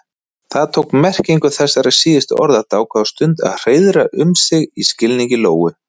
Það tók merkingu þessara síðustu orða dágóða stund að hreiðra um sig í skilningi Lóu.